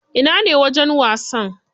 Ina ne wajen wasan?